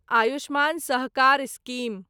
Ayushman Sahakar scheme